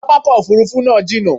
Pápákọ̀ òfurufú náà jínà